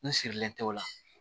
N sirilen tɛ o la